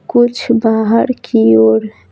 कुछ बाहर की ओर--